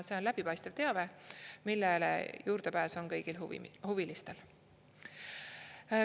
See on läbipaistev teave, millele juurdepääs on kõigil huvilistel.